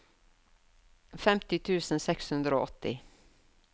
femti tusen seks hundre og åtti